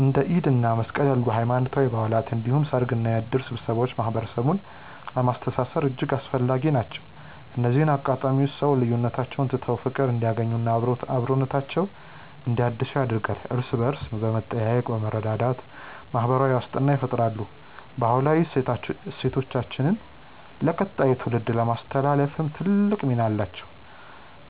እንደ ኢድ እና መስቀል ያሉ ሃይማኖታዊ በዓላት እንዲሁም ሰርግና የእድር ስብሰባዎች ማህበረሰቡን ለማስተሳሰር እጅግ አስፈላጊ ናቸው። እነዚህ አጋጣሚዎች ሰዎች ልዩነቶቻቸውን ትተው በፍቅር እንዲገናኙና አብሮነታቸውን እንዲያድሱ ያደርጋሉ። እርስ በእርስ በመጠያየቅና በመረዳዳት ማህበራዊ ዋስትናን ይፈጥራሉ። ባህላዊ እሴቶቻችንን ለቀጣዩ ትውልድ ለማስተላለፍም ትልቅ ሚና አላቸው።